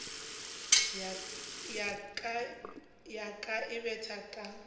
ya ka e betha ka